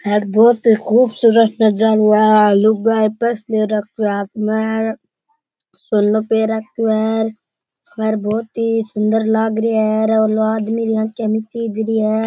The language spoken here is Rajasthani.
यहाँ बहुत ही खूबसूरत नज़ारो हाँथ में सोना पैर रखे है घर बहुत ही सुन्दर लग रेया है और री है।